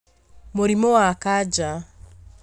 Mũrimũ wa kanja